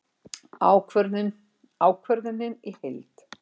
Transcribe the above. Ákvörðunin í heild